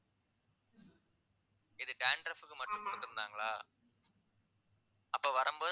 இது dandruff க்கு மட்டும் குடுத்திருந்தாங்களா அப்ப வரும்போது